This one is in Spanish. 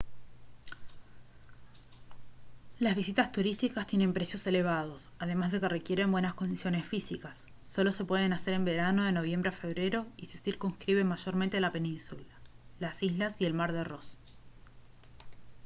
las visitas turísticas tienen precios elevados además de que requieren buenas condiciones físicas solo se pueden hacer en verano de noviembre a febrero y se circunscriben mayormente a la península las islas y el mar de ross